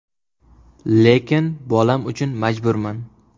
Lekin bolam uchun majburman.